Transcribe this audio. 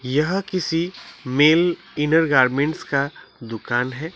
यह किसी male inner garments का दुकान है।